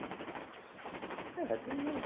Hum, é, tem mais